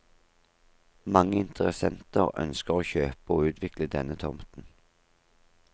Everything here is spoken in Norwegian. Mange interessenter ønsker å kjøpe og utvikle denne tomten.